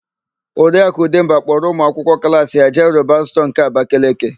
Oriakụ Ụdemba kpọrọ ụmụakwụkwọ klaasi ya jee Roban stọọ nke Abakeleke.